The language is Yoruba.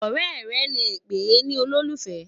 ọrẹ rè lẹ pé nì ololufẹ